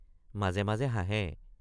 মাজে মাজে হাঁহে।